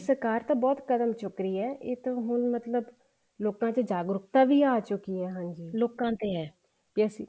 ਸਰਕਾਰ ਤਾਂ ਬਹੁਤ ਕਦਮ ਚੁੱਕ ਰਹੀ ਆ ਇਹ ਤਾਂ ਹੁਣ ਮਤਲਬ ਲੋਕਾਂ ਚ ਜਾਗਰੂਕਤਾ ਵੀ ਆ ਚੁੱਕੀ ਹੈ ਹਾਂਜੀ ਲੋਕਾਂ ਤੇ ਆ ਵੀ ਅਸੀਂ